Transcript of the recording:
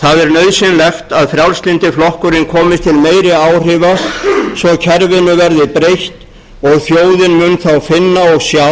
það er nauðsynlegt að frjálslyndi flokkurinn komist til meiri áhrifa svo kerfinu verði breytt og þjóðin mun þá finna og sjá